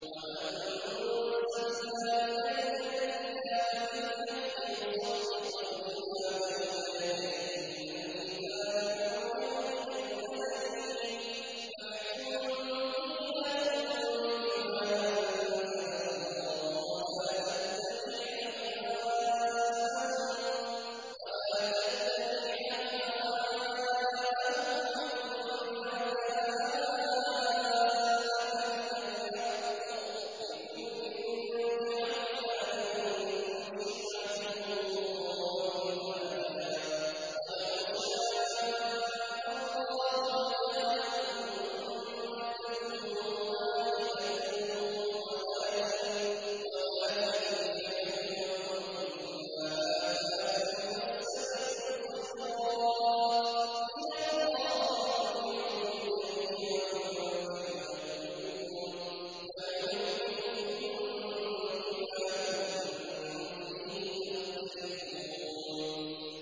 وَأَنزَلْنَا إِلَيْكَ الْكِتَابَ بِالْحَقِّ مُصَدِّقًا لِّمَا بَيْنَ يَدَيْهِ مِنَ الْكِتَابِ وَمُهَيْمِنًا عَلَيْهِ ۖ فَاحْكُم بَيْنَهُم بِمَا أَنزَلَ اللَّهُ ۖ وَلَا تَتَّبِعْ أَهْوَاءَهُمْ عَمَّا جَاءَكَ مِنَ الْحَقِّ ۚ لِكُلٍّ جَعَلْنَا مِنكُمْ شِرْعَةً وَمِنْهَاجًا ۚ وَلَوْ شَاءَ اللَّهُ لَجَعَلَكُمْ أُمَّةً وَاحِدَةً وَلَٰكِن لِّيَبْلُوَكُمْ فِي مَا آتَاكُمْ ۖ فَاسْتَبِقُوا الْخَيْرَاتِ ۚ إِلَى اللَّهِ مَرْجِعُكُمْ جَمِيعًا فَيُنَبِّئُكُم بِمَا كُنتُمْ فِيهِ تَخْتَلِفُونَ